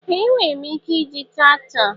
Ee! Enwere m ike iji traktọ.